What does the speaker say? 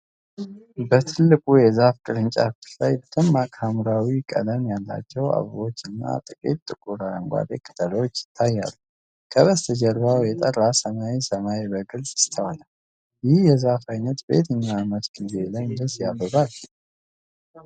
በትልቁ የዛፍ ቅርንጫፎች ላይ ደማቅ ሐምራዊ ቀለም ያላቸው አበቦች እና ጥቂት ጥቁር አረንጓዴ ቅጠሎች ይታያሉ። ከበስተጀርባው የጠራ ሰማያዊ ሰማይ በግልፅ ይስተዋላል።። ይህ የዛፍ ዓይነት በየትኛው የዓመቱ ጊዜ ላይ እንደዚህ ያብባል?